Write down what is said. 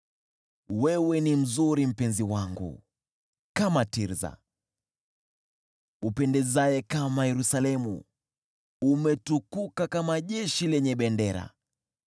Wewe ni mzuri, mpenzi wangu, kama Tirsa, upendezaye kama Yerusalemu, umetukuka kama jeshi lenye bendera.